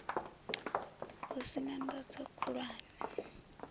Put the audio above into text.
hu sin a ndozwo khulwane